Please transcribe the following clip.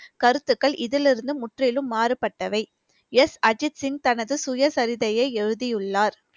கருத்துக்கள் இதிலிருந்து முற்றிலும் மாறுபட்டவை எஸ் அஜித் சிங் தனது சுயசரிதையை எழுதியுள்ளார்